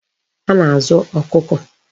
A na-azu Okuko